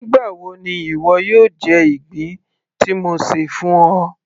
nígbà wo ni ìwọ yóò jẹ ìgbín tí mo ṣè fún ọ